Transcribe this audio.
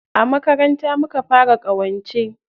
A makaranta muka fara ƙawance.